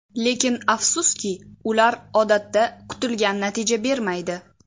Lekin afsuski, ular odatda kutilgan natija bermaydi.